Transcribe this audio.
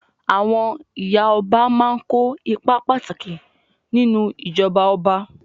Àwọn ìyá ọba máa kó ipa pàtàkì nínú ìjọba ọba.